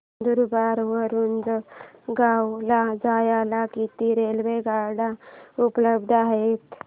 नंदुरबार वरून जळगाव ला जायला किती रेलेवगाडया उपलब्ध आहेत